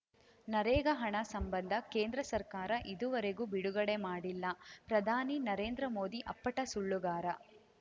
ನರೇಗಾ ಹಣ ಸಂಬಂಧ ಕೇಂದ್ರ ಸರ್ಕಾರ ಇದುವರೆಗೂ ಬಿಡುಗಡೆ ಮಾಡಿಲ್ಲ ಪ್ರಧಾನಿ ನರೇಂದ್ರ ಮೋದಿ ಅಪ್ಪಟ ಸುಳ್ಳುಗಾರ